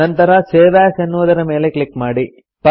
ನಂತರ save as ಎನ್ನುವುದರ ಮೇಲೆ ಕ್ಲಿಕ್ ಮಾಡಿ